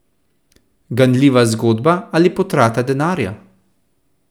Ganljiva zgodba ali potrata denarja?